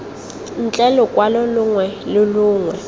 ntle lokwalo longwe lo longwe